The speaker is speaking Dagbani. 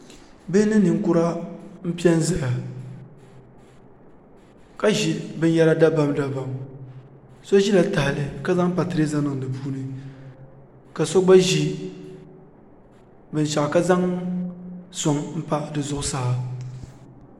bihi ni ninkura n piɛ n ʒiya ka ʒi binyɛra dabam dabam so ʒila tahali ka zaŋ patirɛza niŋ di puuni ka so gba ʒi binshaɣu ka zaŋ soŋ n pa di zuɣusaa